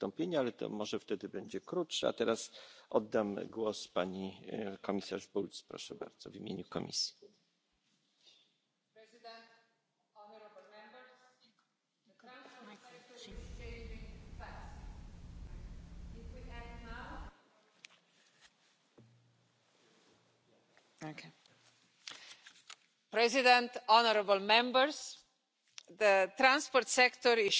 and cyclists. This will make sure that all road users will be able to benefit from the latest developments in technologies. That brings me to the third topic one platform for connected and autonomous mobility. Citizens' mobility demands are growing, and their attitude to mobility is indeed changing. They want to shift seamlessly between different transport modes and enjoy easy access to travel information. Meanwhile, vehicles are